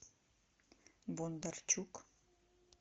бондарчук